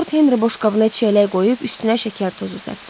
Lord Henri boşqabına çiyələk qoyub üstünə şəkər tozu səpdi.